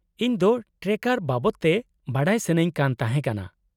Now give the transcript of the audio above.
-ᱤᱧ ᱫᱚ ᱴᱨᱮᱠᱴᱟᱨ ᱵᱟᱵᱚᱫ ᱛᱮ ᱵᱟᱰᱟᱭ ᱥᱟᱹᱱᱟᱹᱧ ᱠᱟᱱ ᱛᱟᱦᱮᱸ ᱠᱟᱱᱟ ᱾